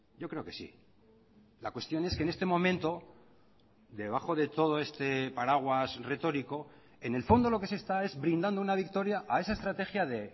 yo creo que sí la cuestión es que en este momento debajo de todo este paraguas retórico en el fondo lo que se está es brindando una victoria a esa estrategia de